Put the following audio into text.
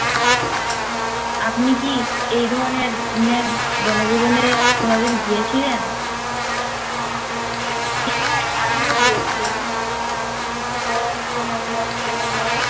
আপনি কি এধরনের নের বনভূজন কোন দিন গিয়েছিলেন হ্যা আমিও গিয়েছিলাম ঋতূ পরম প্ৰেমীয় প্রেমীয়া